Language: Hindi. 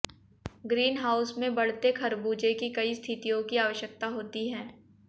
ग्रीन हाउस में बढ़ते खरबूजे की कई स्थितियों की आवश्यकता होती है